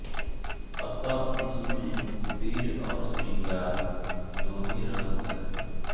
अत इसमें वीर और श्रृंगार दो ही रस है